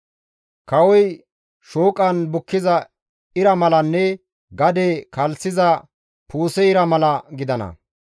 Kawoy shooqan bukkiza ira malanne gade kalssiza puuse ira mala gidana.